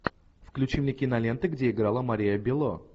включи мне киноленты где играла мария белло